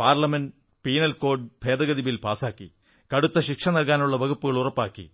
parliament penal code ഭേദഗതി bill പാസാക്കി കടുത്ത ശിക്ഷനല്കാനുള്ള വകുപ്പ് ഉറപ്പാക്കി